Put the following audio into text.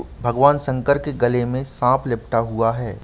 भगवान शंकर के गले में साँप लिपटा हुआ है।